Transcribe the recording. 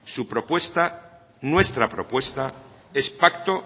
su propuesta nuestra propuesta es pacto